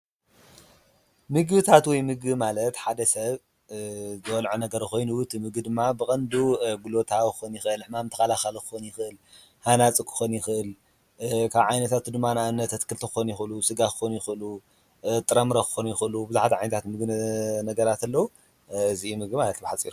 ምግብታት ወይ ምግቢ ማለት ሓደ ሰብ ዝበልዖ ነገር ኮይኑ እቲ ምግቢ ድማ ብቐንዱ ጉልበታዊ ይኽእል፡፡ ሕማም ተኸላኻሊ ክኸውን ይኽእል፡፡ ሃናፂ ክኾን ይኽእል፡፡ ካብ ዓይነታቱ ድማ ንኣብነት ኣትክልቲ ክኾኑ ይኽሉ፣ ሥጋ ክኾኑ ይኽእሉ፣ ጥረምረ ክኾኑ ይኽእሉ፡፡ ብዙሓት ዓይነታት ነገራት ኣለው፡፡ እዙይ እዩ ምግቢ ማለት ብሓፂሩ፡፡